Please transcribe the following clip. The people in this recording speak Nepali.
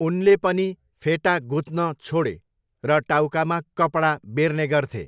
उनले पनि फेटा गुत्न छोडे र टाउकामा कपडा बेर्ने गर्थे।